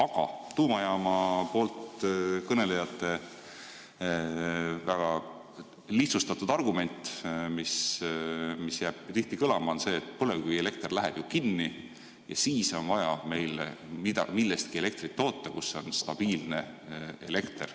Aga tuumajaama poolt kõnelejate väga lihtsustatud argument, mis jääb tihti kõlama, on see, et põlevkivielekter läheb ju kinni ja siis on vaja meil elektrit toota millestki, mis on stabiilne.